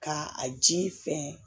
Ka a ji fɛn